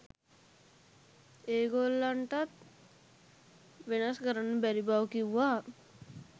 ඒ ගොල්ලන්ටවත් වෙනස් කරන්න බැරි බව කිව්වා.